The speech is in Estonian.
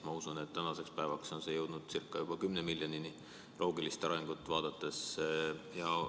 Ma usun, et tänaseks on see jõudnud ca 10 miljonini, loogilist arengut vaadates.